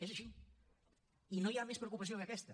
és així i no hi ha més preocupació que aquesta